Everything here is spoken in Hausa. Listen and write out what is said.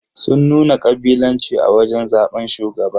Sun nuna kabilanci a wajen zaban shugaba.